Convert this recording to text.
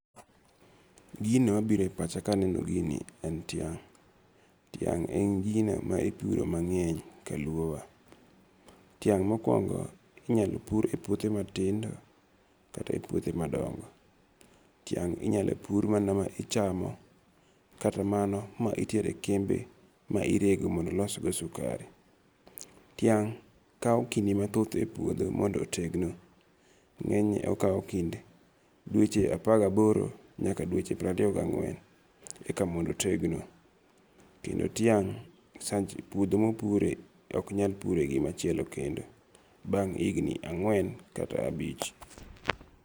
Gino mabiro e pacha kaneno gini en tiang'. Tiang' en gino ma ipuro mang'eny ka luo wa. Tiang' mokwongo inyal pur e puothe ma tindo kata e puothe ma dongo. tiang' inyalo pur mana ma ichamo kata mano ma itere kembe ma irego mondo losgo sukari. Tiang' kawo kinde mathoth e puodho mondo otegno, ng'enyne okawo kind dweche apagaboro nyaka dweche prariyo gang'wen eka mondo otegno. Kendo tiang' sanch, puodho mopure ok nyal pure gimachielo kendo, bang' higni ang'wen kata abich.